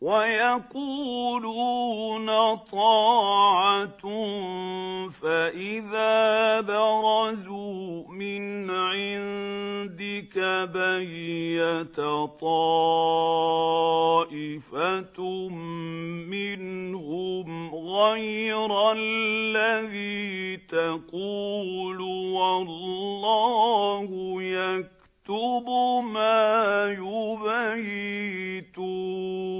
وَيَقُولُونَ طَاعَةٌ فَإِذَا بَرَزُوا مِنْ عِندِكَ بَيَّتَ طَائِفَةٌ مِّنْهُمْ غَيْرَ الَّذِي تَقُولُ ۖ وَاللَّهُ يَكْتُبُ مَا يُبَيِّتُونَ